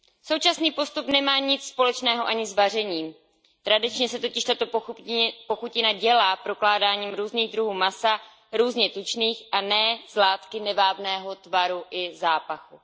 Současný postup nemá nic společného ani s vařením, tradičně se totiž tato pochutina dělá prokládáním různých druhů masa, různě tučných, a ne z látky nevábného tvaru i zápachu.